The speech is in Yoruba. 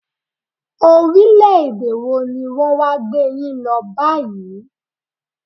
Orílẹ̀-èdè wọ ní wọn wá gbé yín lọ báyìí?